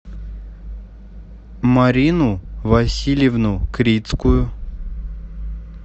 марину васильевну крицкую